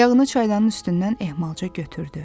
Ayağını çaydanın üstündən ehmalca götürdü.